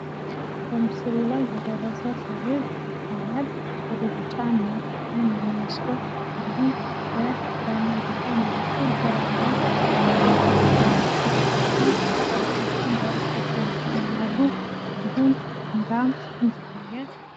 በምስሉ ላይ የደረሰ ሰብል ይታያል ቢጫማ ቀለም ያለው ሲሆን ፤ ከበስተጀርባ ሁለት ተራራዎች ይታያሉ። እንዲሁም ከበስተጀርባ በኩል ዛፎች ይታያሉ።